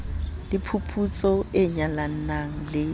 le phuputso e nyalanang le